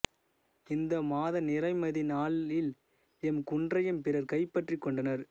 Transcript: இந்த மாத நிறைமதி நாளில் எம் குன்றையும் பிறர் கைப்பற்றிக்கொண்டனர்